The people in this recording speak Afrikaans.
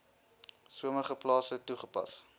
sommige plase toegepas